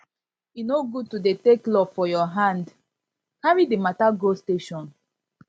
e no good to dey take law for your hand carry di mata go station